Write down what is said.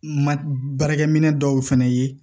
Ma baarakɛminɛn dɔw fana ye